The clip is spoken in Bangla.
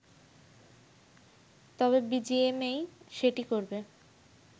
তবে বিজিএমএই সেটি করবে।